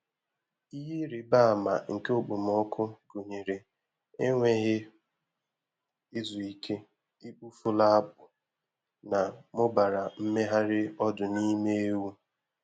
Ihe ịrịba ama nke okpomọkụ gụnyere enweghị izu ike, ikpu furu akpụ, na mụbara mmegharị ọdụ n’ime ewu.